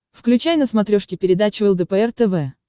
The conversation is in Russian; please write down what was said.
включай на смотрешке передачу лдпр тв